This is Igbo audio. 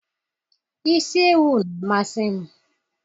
isi ewu na-amasị m